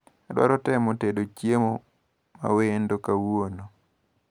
Adwaro temo tedo chiemo mawendo kawuono.